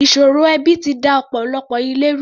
Ìṣòro ẹbi ti da ọ̀pọ̀lọpọ̀ ilé ru.